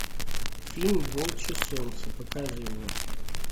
фильм волчье солнце покажи мне